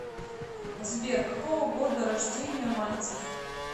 сбер какого года рождения мальцев